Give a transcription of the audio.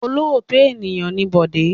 Olóòótọ́ ènìyàn ni Bọ̀dé.